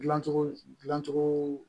Dilancogo dilancogo